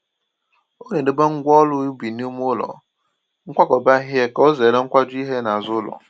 Ọ na-edobe ngwa ọrụ ubi n’ime ụlọ nkwakọba ihe ka ozere nkwaju ihe n'azụ ụlọ